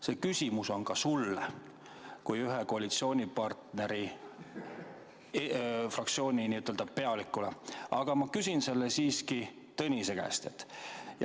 See küsimus on ka sulle kui ühe koalitsioonipartneri fraktsiooni n-ö pealikule, aga ma küsin selle siiski Tõnise käest.